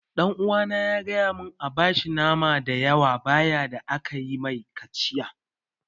Ɗan uwana ya gaya mun an bashi nama da yawa bayan da aka yi mai kaciya